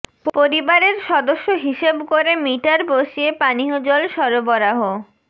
পরিবারের সদস্য হিসেব করে মিটার বসিয়ে পানীয় জল সরবরাহ